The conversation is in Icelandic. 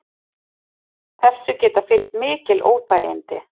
Þessu geta fylgt mikil óþægindi